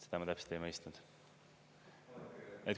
Seda ma täpselt ei mõistnud.